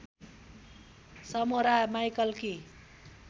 समोरा माईकलकी